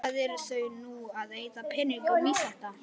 Hvað eru þau nú að eyða peningum í þetta?